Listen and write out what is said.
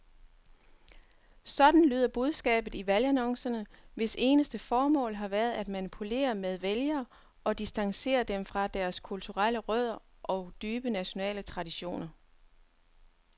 Sådan lyder budskabet i valgannoncerne, hvis eneste formål har været at manipulere med vælgere og distancere dem fra deres kulturelle rødder og dybe nationale traditioner.